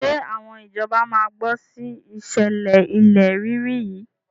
Ṣé àwọn ìjọba máa gbọ́ sí ìṣẹ̀lẹ̀ ilẹ̀ rírì yìí?